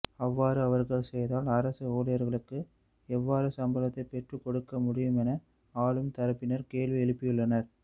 அவ்வாறு அவர்கள் செய்தால் அரச ஊழியர்களுக்கு எவ்வாறு சம்பளத்தை பெற்றுக்கொடுக்க முடியுமென ஆளும் தரப்பினர் கேள்வி எழுப்பியுள்ளனர்